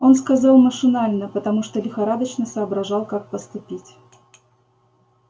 он сказал машинально потому что лихорадочно соображал как поступить